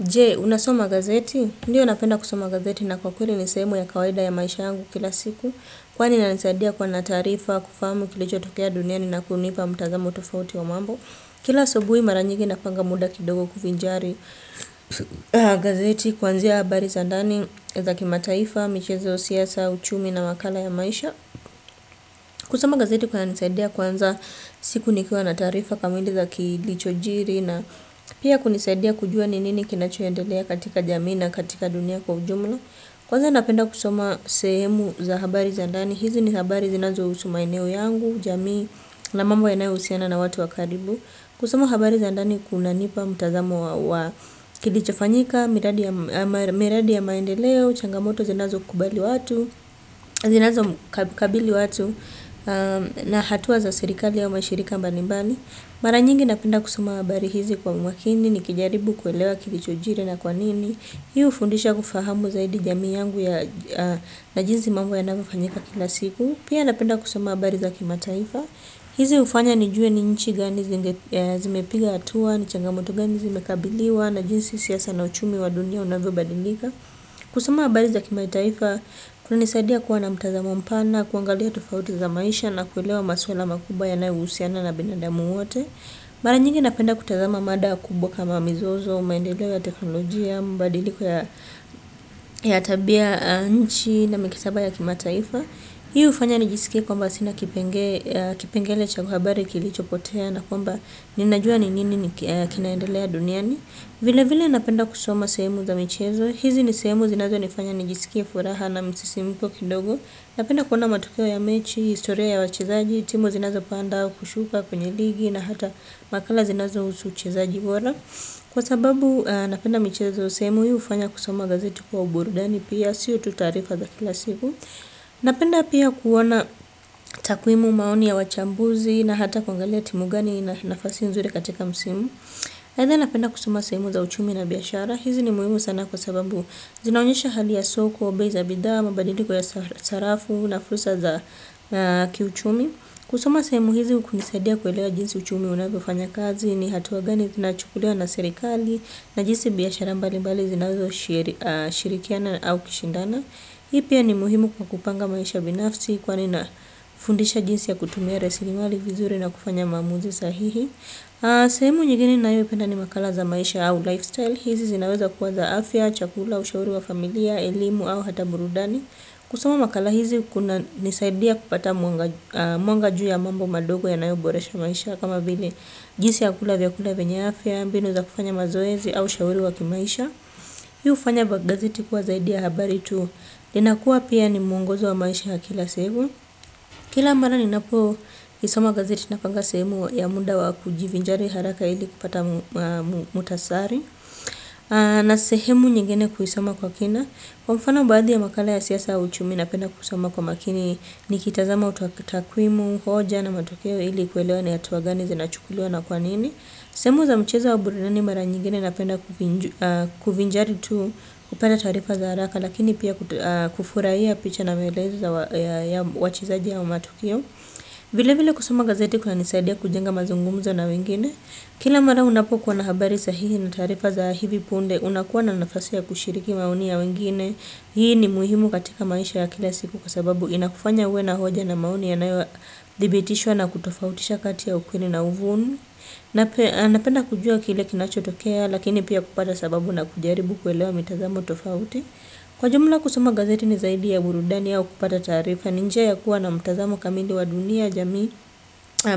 Jee, unasoma gazeti? Ndiyo napenda kusoma gazeti na kwa kweli ni sehemu ya kawaida ya maisha yangu kila siku. Kwani inanisaidia kwa na taarifa, kufamu kilichotokea dunia ni na kunipa mtazamo tofauti wa mambo. Kila asubui mara nyingi napanga muda kidogo kufinjari gazeti, kwanzia habari za ndani, za kimataifa, michezo siasa, uchumi na wakala ya maisha. Kusoma gazeti kunanisaidia kwanza siku nikua na tarifa kamili za kilichojiri na pia kunisaidia kujua ni nini kinachoendelea katika jamii na katika dunia kwa ujumla. Kwanza napenda kusama sehemu za habari za ndani, hizi ni habari zinazo husu maeneo yangu, jamii na mambo yanayohusiana na watu wa karibu. Kusoma habari za ndani kunanipa mutazamo wa kilichofanyika, miradi ya maendeleo, changamoto zinazokubali watu, zinazokabili watu na hatua za serikali au mashirika mbali mbali. Mara nyingi napenda kusoma habari hizi kwa umakini, nikijaribu kuelewa kilichojiri na kwanini. Hii hufundisha kufahamu zaidi jami yangu na jinsi mambo yanavyofanyika kila siku. Pia napenda kusoma wa habari za kimataifa. Hizi ufanya nijuwe ni nchi gani zimepiga hatua, ni changamoto gani zimekabiliwa, na jinsi siasa na uchumi wa dunia unavy badilika. Kusoma habari za kimataifa, kuna nisaidia kuwa na mtazamo mpana, kuangalia tufauti za maisha na kuilewa masuala makubwa yanayohusiana na binadamu wote. Mara nyingi napenda kutazama mada kubwa kama mizozo, maendeleo ya teknolojia, mabadiliko ya tabia, nchi na mikataba ya kimataifa. Hii hufanya nijiskie kwa sina kipengele cha habari iliyopotea na kwamba ninajua nini kinaendelea duniani. Vilevile napenda kusoma sehemu za michezo. Hizi ni sehemu zinazo nifanya nijisike furaha na msisimko kidogo. Napenda kuona matokeo ya mechi, historia ya wachezaji, timu zinazo panda kushuka kwenye ligi na hata makala zinazohusu uchezaji bora. Kwa sababu napenda michezo sehemu huu hufanya kusoma gazeti kuwa burudani pia sio tu taarifa za kila siku. Napenda pia kuona takwimu maoni ya wachambuzi na hata kuangalia timu gani na nafasi nzuri katika msimu. Aidha napenda kusoma sehemu za uchumi na biashara hizi ni muhimu sana kwa sababu zinaonyesha hali ya soko, bei za bidhaa, mabadiliko ya sarafu, na fursa za kiuchumi. Kusoma sehemu hizi kunisadia kuelewa jinsi uchumi unavyofanya kazi ni hatua gani nachukulewa na sirikali na jinsi biashara mbali mbali zinauzoshirikiana au kishindana. Hii pia ni muhimu kwa kupanga maisha binafsi kwa ni nafundisha jinsi ya kutumia rasirimali vizuri na kufanya maamuzi sahihi. Sehemu nyingine nayopenda ni makala za maisha au lifestyle. Hizi zinaweza kuwa za afya, chakula, ushauri wa familia, elimu au hata murudani. Kusoma makala hizi kuna nisaidia kupata mwanga ju ya mambo madogo ya na iwe boresha maisha. Kama vile jinsi ya kula vya kula vyenye afya, mbinu za kufanya mazoezi au ushauri wa kimaisha. Hii hufanya gazeti kuwa zaidia habari tu. Linakua pia ni mungozo wa maisha ya kila segu. Kila marani napo isoma gazeti na panga sehemu ya munda wa kujivinjari haraka ili kupata muhtasari na sehemu nyingine kuisoma kwa kina. Kwa mfana baadhi ya makala ya siasa uchumi napenda kusoma kwa makini ni kitazama utakwimu, hoja na matokeo ili kuelewa ni hatua gani zi nachukuliwa na kwa nini. Sehemu za mcheza wa burudani mara nyingine napenda kuvinjari tu upenda tarifa za haraka lakini pia kufurahia picha na maeleza ya wachezaji au matukio. Vile vile kusoma gazeti kuna nisaidia kujenga mazungumzo na wengine. Kila mara unapokuwa na habari sahihi na tarifa za hivi punde unakuwa na nafasi ya kushiriki maoni ya wengine. Hii ni muhimu katika maisha ya kila siku kwa sababu inakufanya uwe na hoja na maoni ya naewa dhibitishwa na kutofautisha kati ya ukwini na uvunu. Na penda kujua kile kinachotokea lakini pia kupata sababu na kujaribu kuelewa mitazamu tofauti. Kwa jumla kusuma gazeti ni zaidi ya burudani yao kupata tarifa. Ninjaya kuwa na mitazamu kamindi wa dunia, jami,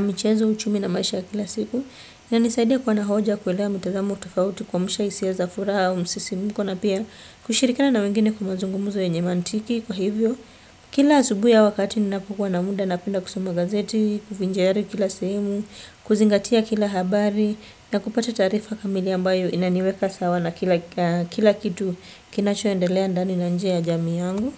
michezo, uchumi na maisha kila siku. Ya nisaidi ya kuwa na hoja kuelewa mitazamu tofauti kwa mshaisi ya zafuraa o msisimuko. Na pia kushirikana na wengine kumazungumuzo ya nyemantiki kwa hivyo. Kila asubuhi au wakati ni nakukuwa na muda napenda kusoma gazeti, kuvinjayari kila sehemu kuzingatia kila habari na kupata taarifa kamili ambayo kinaniweka sawa na kila kitu kinachoendelea ndani na nje ya jamii yangu.